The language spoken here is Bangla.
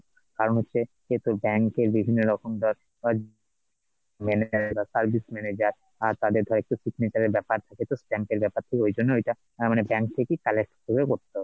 কারণ হচ্ছে, যে তোর bank এর বিভিন্নরকম ধর তোর manager এর ব্যাপার office manager বা তাদের ধর কোনো signature এর ব্যাপার থাকে তো stamp এর ব্যাপার থাকে তো ঐজন্য ঐটা মানে bank থেকেই, collect করে করতে হবে